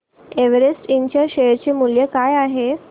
Everest इंड च्या share चे मूल्य काय आहे